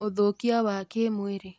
ũthũkia wa kĩmwĩrĩ